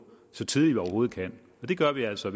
så tidligt vi overhovedet kan det gør vi altså